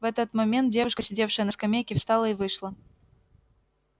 в этот момент девушка сидевшая на скамейке встала и вышла